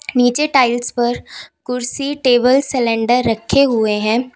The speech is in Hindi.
नीचे टाइल्स पर कुर्सी टेबल सिलेंडर रखे हुए हैं।